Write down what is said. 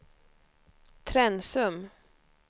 Trensum